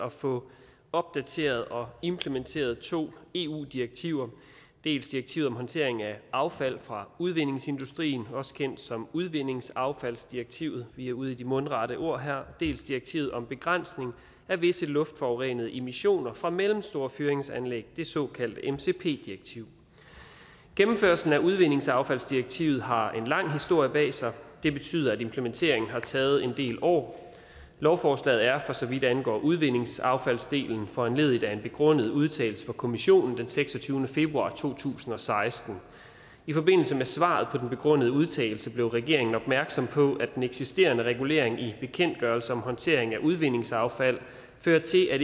at få opdateret og implementeret to eu direktiver dels direktivet om håndtering af affald fra udvindingsindustrien også kendt som udvindingsaffaldsdirektivet vi er ude i de mundrette ord her dels direktivet om begrænsning af visse luftforurenende emissioner fra mellemstore fyringsanlæg det såkaldte mcp direktiv gennemførelsen af udvindingsaffaldsdirektivet har en lang historie bag sig det betyder at implementeringen har taget en del år lovforslaget er for så vidt angår udvindingsaffaldsdelen foranlediget af en begrundet udtalelse fra kommissionen den seksogtyvende februar to tusind og seksten i forbindelse med svaret på den begrundede udtalelse blev regeringen opmærksom på at den eksisterende regulering i bekendtgørelse om håndtering af udvindingsaffald fører til at